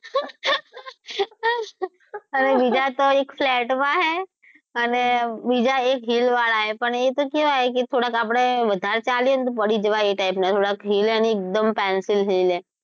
અને બીજા તો એક flat માં છે અને બીજા એક hill વાળા છે પણ એતો કેવા છે કે થોડાક આપડે વધારે ચાલીયે તો પડી જવાય એ type ના થોડા છે થોડાક hill છે અને એક દમ pencil hill છે.